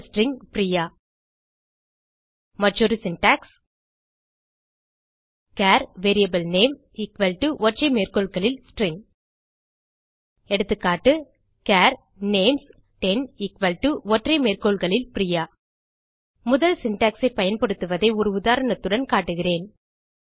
இந்த ஸ்ட்ரிங் பிரியா மற்றொரு syntax char var name ஒற்றை மேற்கோள்களில் ஸ்ட்ரிங் எகா சார் names10 ஒற்றை மேற்கோள்களில் பிரியா முதல் சின்டாக்ஸ் ஐ பயன்படுத்துவதை ஒரு உதாரணத்துடன் காட்டுகிறேன்